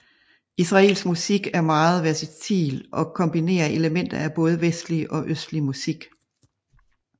Israelsk musik er meget versatil og kombinerer elementer af både vestlig og østlig musik